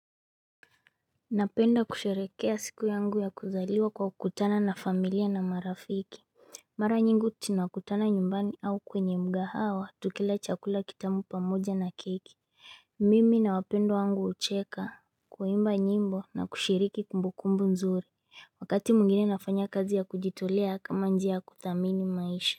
Napenda kusherehekea siku yangu ya kuzaliwa kwa kukutana na familia na marafiki. Mara nyingi tunakutana nyumbani au kwenye mkahawa tukila chakula kitamu pamoja na keki Mimi na wapendwa wangu hucheka kuimba nyimbo na kushiriki kumbukumbu nzuri. Wakati mwingine nafanya kazi ya kujitolea kama njia kudhamini maisha.